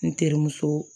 N terimuso